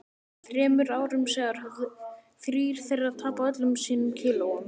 Þremur árum síðar höfðu þrír þeirra tapað öllum sínum kílóum.